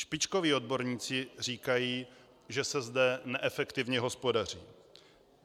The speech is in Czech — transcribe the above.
Špičkoví odborníci říkají, že se zde neefektivně hospodaří.